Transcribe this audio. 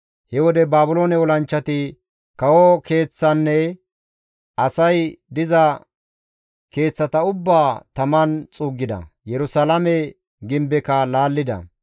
He wode Baabiloone olanchchati kawo keeththanne asay diza keeththata ubbaa taman xuuggida; Yerusalaame gimbekka laallida.